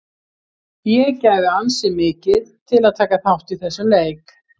Ég gæfi ansi mikið til að taka þátt í þessum leik.